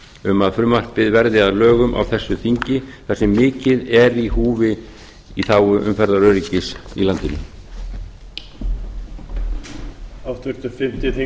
um að frumvarpið verði að lögum á þessu þingi þar sem mikið er í húfi í þágu umferðaröryggis í landinu